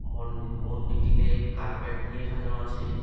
মন্ডি মন্দিরটিতে কার্পেট দিয়ে সাজানো আছে।